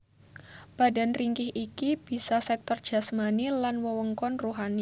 Badan ringkih iki bisa sektor jasmani lan wewengkon ruhani